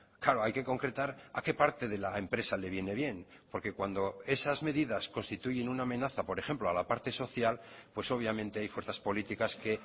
claro hay que concretar a qué parte de la empresa le viene bien porque cuando esas medidas constituyen una amenaza por ejemplo a la parte social pues obviamente hay fuerzas políticas que